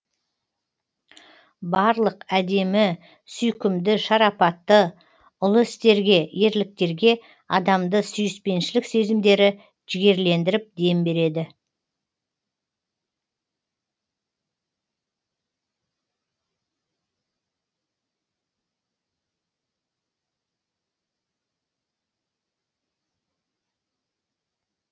барлық әдемі сүйкімді шарапатты ұлы істерге ерліктерге адамды сүйіспеншілік сезімдері жігерлендіріп дем береді